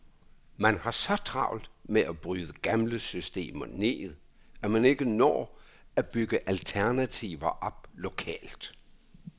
Man har så travlt med at bryde gamle systemer ned, at man ikke når at bygge alternativer op lokalt.